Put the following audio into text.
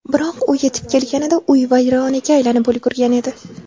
Biroq u yetib kelganida uy vayronaga aylanib ulgurgan edi.